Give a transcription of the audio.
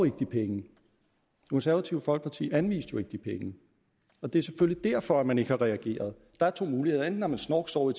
ikke de penge konservative folkeparti anviste jo ikke de penge og det er selvfølgelig derfor man ikke har reageret der er to muligheder enten har man snorksovet